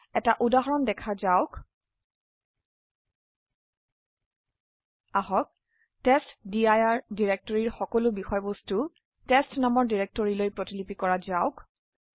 এটা উদাহৰণ দেখা যাওক আহক টেষ্টডিৰ ডিৰেক্টৰিৰ সকলো বিষয়বস্তু টেষ্ট নামৰ ডিৰেক্টৰিলৈ প্ৰতিলিপি কৰা যাওক